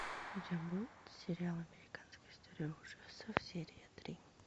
у тебя будет сериал американская история ужасов серия три